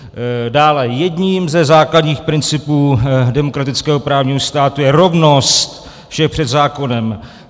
Dále, jedním ze základních principů demokratického právního státu je rovnost všech před zákonem.